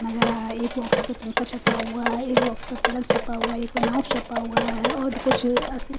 लग रहा है यह बॉक्स भी छुपा हुआ है एक बॉक्स पे पिलर छुपा हुआ है एक पे माउस छुपा हुआ है और कुछ असली--